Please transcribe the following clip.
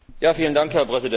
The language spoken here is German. Herr Präsident!